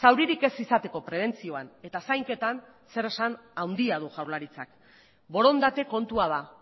zauririk ez izateko prebentzioan eta zainketan zeresan handia du jaurlaritzak borondate kontua da